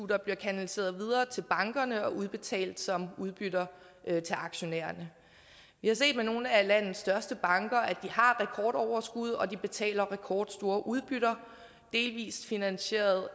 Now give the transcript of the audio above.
bliver kanaliseret videre til bankerne og udbetalt som udbytter til aktionærerne vi har set at nogle af landets største banker har rekordoverskud og at de betaler rekordstore udbytter delvist finansieret